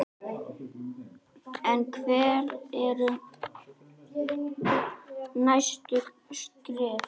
En hver eru næstu skref?